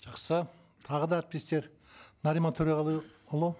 жақсы тағы да әріптестер нариман төреғалыұлы